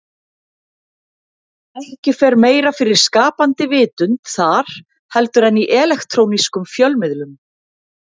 Ekki fer meira fyrir skapandi vitund þar heldur en í elektrónískum fjölmiðlum.